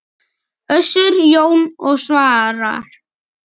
Össur, Jón og Svavar!